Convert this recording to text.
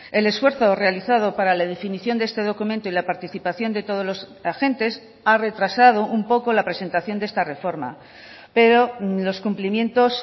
el esfuerzo realizado para la definición de este documento y la participación de todos los agentes ha retrasado un poco la presentación de esta reforma pero los cumplimientos